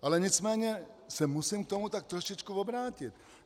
Ale nicméně se musím k tomu tak trošičku obrátit.